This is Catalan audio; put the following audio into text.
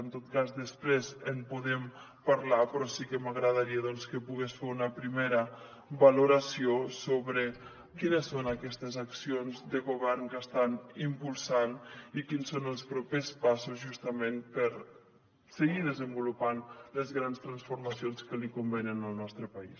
en tot cas després en podem parlar però sí que m’agradaria doncs que pogués fer una primera valoració sobre quines són aquestes accions de govern que estan impulsant i quins són els propers passos justament per seguir desenvolupant les grans transformacions que li convenen al nostre país